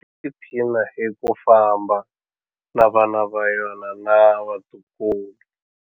Tiphina hi ku famba na vana va yona na vatukulu.